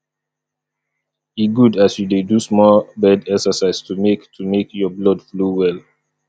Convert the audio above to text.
e good as you dey do small bed exercise to make to make your blood flow well